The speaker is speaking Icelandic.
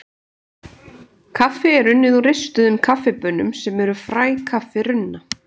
Kaffi er unnið úr ristuðum kaffibaunum sem eru fræ kaffirunna.